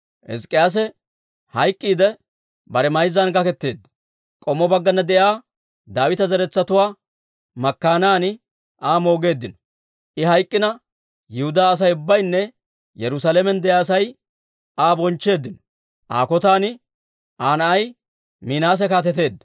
Hizk'k'iyaase hayk'k'iidde, bare mayzzan gaketeedda; k'ommo baggana de'iyaa Daawita zeretsatuwaa makkaanan Aa moogeeddino. I hayk'k'ina, Yihudaa Asay ubbaynne Yerusaalamen de'iyaa Asay Aa bonchcheeddino. Aa kotan Aa na'ay Minaase kaateteedda.